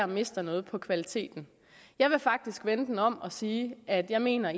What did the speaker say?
mister noget på kvaliteten jeg vil faktisk vende den om og sige at jeg mener